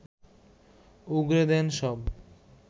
উগরে দেন সব